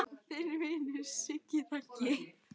Þinn vinur Siggi Raggi